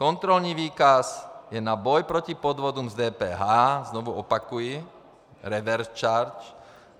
Kontrolní výkaz je na boj proti podvodům s DPH, znovu opakuji, revers charge.